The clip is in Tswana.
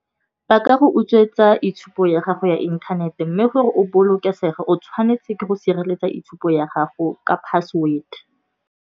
Ba ka go utswetsa itshupo ya gago ya inthanete mme gore o bolokesege, o tshwanetse ke go sireletsa itshupo ya gago ka password.